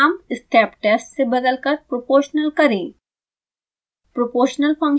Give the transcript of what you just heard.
function का नाम steptest से बदलकर proportional करें